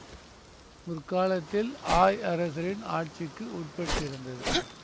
முற்காலத்தில் ஆய் அரசரின் ஆட்சிக்கு உட்பட்டிருந்தது